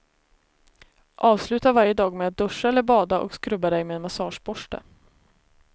Avsluta varje dag med att duscha eller bada och skrubba dig med en massageborste.